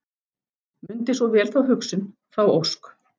Mundi svo vel þá hugsun, þá ósk.